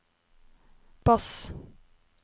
bass